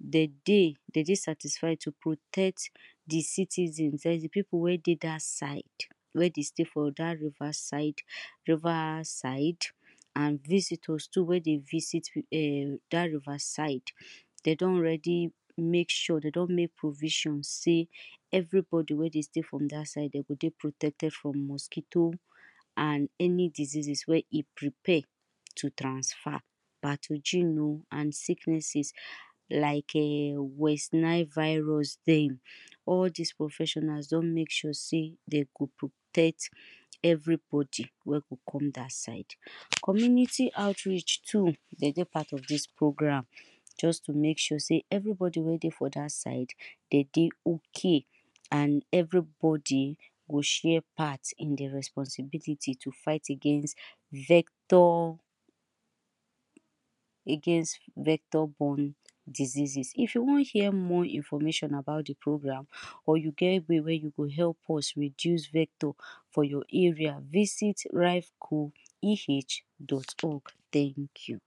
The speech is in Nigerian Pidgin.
dem dey, dem dey satisfied to protect the citizen then the people wey dey that side we dey stay for that riverside river siide and visitors too wey dey visit ehh that riverside dem don already make sure, dem don make provision sey everybody wey dey stay from that side, dem go dey protected from mosquito and any diseases wey e prepare to transfer. Pathogene o and sickness like eh westernize virus dey. All this professionals don make sure sey dem go protect everybody wey go come that side. Community outreach too, dem dey part of this program. just to male sure sey everybody wey dey for that side, dem dey okay and everybody go share part in the responsibility to fight against vector, against vector born diseases. If you want hear more information about the program, or you get way wey you go help us reduce vector for your area, visit raivcoeh.org, Thank you